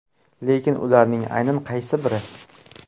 Lekin ularning aynan qaysi biri?